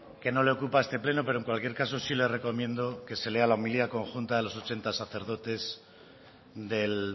que no le ocupa a este pleno pero en cualquier caso sí le recomiendo que se lea la homilía conjunta de los ochenta sacerdotes del